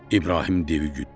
İbrahim devi güddü.